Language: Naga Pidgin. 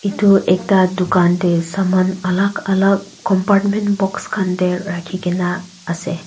itu ekta dukan tey saman alak alak compartment box khan teh rakhigena ase.